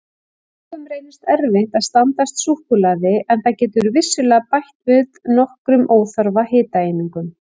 Mörgum reynist erfitt að standast súkkulaði en það getur vissulega bætt við nokkrum óþarfa hitaeiningum.